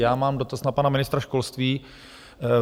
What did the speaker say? Já mám dotaz na pana ministra školství.